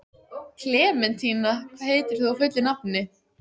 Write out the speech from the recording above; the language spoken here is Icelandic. Klementína, hvað heitir þú fullu nafni?